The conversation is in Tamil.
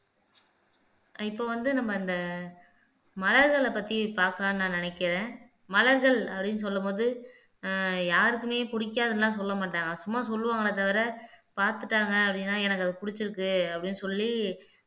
இப்ப வந்து நம்ம இந்த மலர்களைப் பத்தி பாக்கலாம்னு நான் நினைக்கிறேன் மலர்கள் அப்படீன்னு சொல்லும் போது ஆஹ் யாருக்குமே பிடிக்காதுன்னு எல்லாம் சொல்ல மாட்டாங்க சும்மா சொல்லுவாங்களே தவிர பாத்துட்டாங்க அப்படின்னா எனக்கு அது பிடிச்சிருக்கு அப்படின்னு சொல்லி